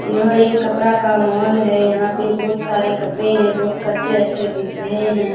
यह एक कपड़ा का मॉल है यहाँ पे बहुत सारे कपड़े है बहुत कच्चे-अच्छे दिख रहे है |